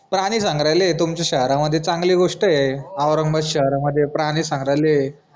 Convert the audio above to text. प्रानी संग्रहालय ए तुमच्या शहरामध्ये चांगली गोष्ट ए औरंगाबाद शहरामध्ये प्रानी संग्रहालय